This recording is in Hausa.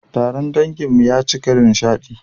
Taron danginmu ya cika da nishadi